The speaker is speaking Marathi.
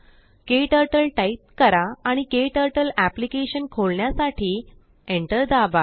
केटर्टल टाईप करा आणिकेटर्टल अप्लिकेशन खोलण्यासाठीएन्टर दाबा